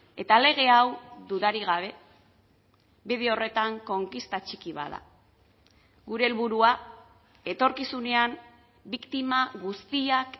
eta lege hau dudarik gabe bide horretan konkista txiki bat da gure helburua etorkizunean biktima guztiak